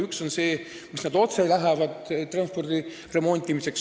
Üks on see raha, mis läheb otse transpordivahendite remontimiseks.